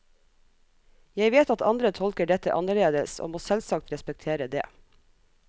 Jeg vet at andre tolker dette annerledes, og må selvsagt respektere det.